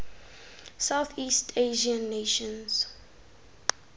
southeast asian nations